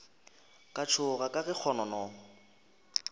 ka tšhoga ka ge kgonono